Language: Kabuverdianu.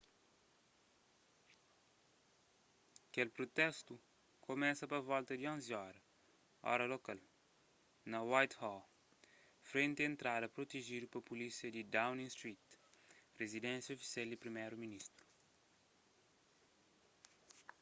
kel protestu kumesa pa volta di 11:00 óra lokal utc+1 na whitehall frenti entrada protejidu pa pulísia di downing street rizidénsia ofisial di priméru ministru